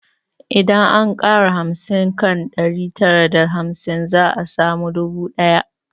Idan an ƙara hamsin kan ɗari tara da hamsin za a samu dubu ɗaya